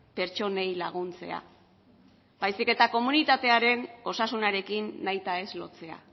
pertsonei laguntzea baizik eta komunitatearen osasunarekin nahitaez lotzea